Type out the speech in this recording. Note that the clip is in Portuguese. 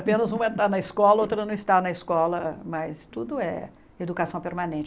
Apenas uma está na escola, outra não está na escola, mas tudo é educação permanente.